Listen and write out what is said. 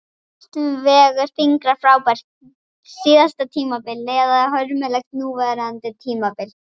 Hvort vegur þyngra, frábært síðasta tímabil eða hörmulegt núverandi tímabil?